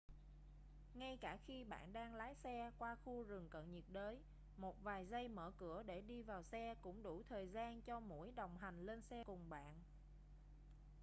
ngay cả khi bạn đang lái xe qua khu rừng cận nhiệt đới một vài giây mở cửa để đi vào xe cũng đủ thời gian cho muỗi đồng hành lên xe cùng bạn